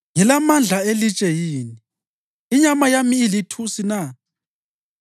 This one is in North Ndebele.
Ngilamandla elitshe yini? Inyama yami ilithusi na?